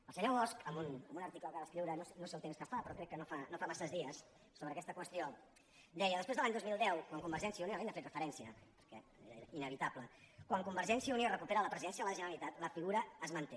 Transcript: el senyor bosch en un article que va escriure no sé el temps que fa però crec que no fa massa dies sobre aquesta qüestió deia després de l’any dos mil deu quan convergència i unió ell hi ha fet referència perquè era inevitable recupera la presidència de la generalitat la figura es manté